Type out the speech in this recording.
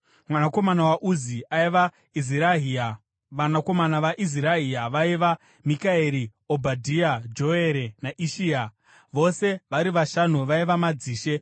Mwanakomana waUzi aiva: Izirahia. Vanakomana vaIzirahia vaiva: Mikaeri, Obhadhia, Joere naIshia. Vose vari vashanu vaiva madzishe.